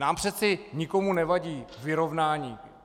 Nám přeci nikomu nevadí vyrovnání.